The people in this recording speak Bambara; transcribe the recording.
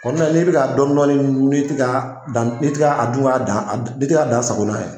n'i bɛ ka dɔn dɔni dun n'i tɛ ka dan n'i tɛ ka a dun ka dan n'i tɛ ka dan sago n'a ye.